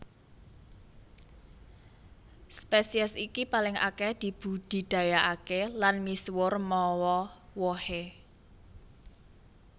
Spesies iki paling akèh dibudidayakaké lan misuwur mawa wohé